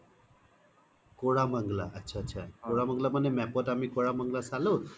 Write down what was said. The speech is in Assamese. কৰমনংলা আত্চা আত্চা কৰমনংলা মানে map ত আমি কৰমনংলা চালো